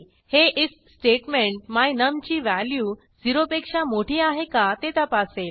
हे IF statement my num ची value 0 पेक्षा मोठी आहे का ते तपासेल